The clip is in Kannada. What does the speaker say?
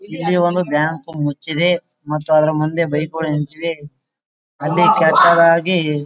ಇಲ್ಲಿ ಒಂದು ಬ್ಯಾಂಕ್ ಮುಚ್ಚಿದೆ ಮತ್ತು ಅದರ ಮಧ್ಯೆ ಬೈಕ್ ಗಳು ನಿಂತಿವೆ ಅಲ್ಲಿ ಕೆಟ್ಟದಾಗಿ --